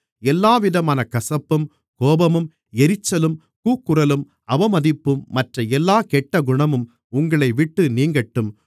எல்லாவிதமான கசப்பும் கோபமும் எரிச்சலும் கூக்குரலும் அவமதிப்பதும் மற்ற எல்லாக் கெட்டகுணமும் உங்களைவிட்டு நீங்கட்டும்